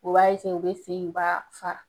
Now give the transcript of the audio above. U b'a u bɛ sen in u b'a fara